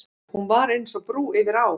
Hún var eins og brú yfir á.